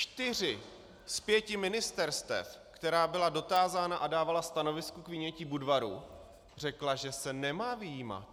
Čtyři z pěti ministerstev, která byla dotázána a dávala stanovisko k vynětí Budvaru, řekla, že se nemá vyjímat.